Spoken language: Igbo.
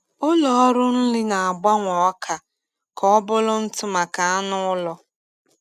Ụlọ ọrụ nri na-agbanwe ọka ka ọ bụrụ ntụ maka anụ ụlọ.